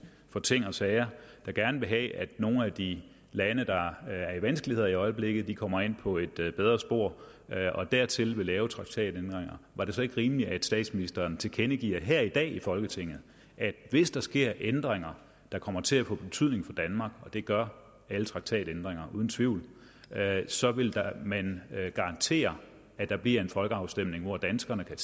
for ting og sager og som gerne vil have at nogle af de lande der er i vanskeligheder i øjeblikket kommer ind på et bedre spor og dertil vil lave traktatændringer var det så ikke rimeligt at statsministeren tilkendegav her i dag i folketinget at hvis der sker ændringer der kommer til at få betydning for danmark og det gør alle traktatændringer uden tvivl så vil man garantere at der bliver en folkeafstemning hvor danskerne kan